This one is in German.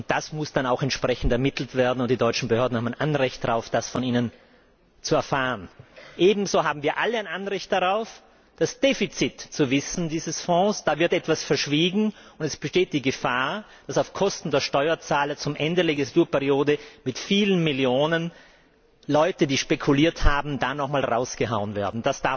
Das muss dann auch entsprechend ermittelt werden, und die deutschen Behörden haben ein Anrecht darauf, das von Ihnen zu erfahren. Ebenso haben wir alle ein Anrecht darauf, das Defizit dieses Fonds zu kennen. Da wird etwas verschwiegen, und es besteht die Gefahr, dass auf Kosten der Steuerzahler zum Ende der Legislaturperiode mit vielen Millionen Leute, die spekuliert haben, noch einmal herausgehauen werden.